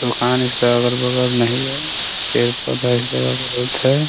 दुकान इसके अगल बगल मे नही है पेड़ पौधा एक जगह बहुत है ।